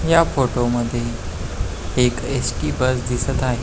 ह्या फोटो मध्ये एक एस.टी. बस दिसत आहे.